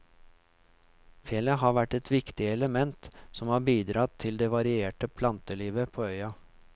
Fjellet har vært et viktig element som har bidratt til det varierte plantelivet på øya.